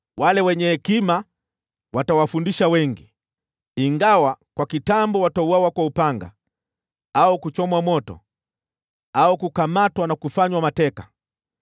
“Wenye hekima watawafundisha wengi, ingawa kwa kitambo watauawa kwa upanga au kuchomwa moto, au kukamatwa au kufanywa mateka.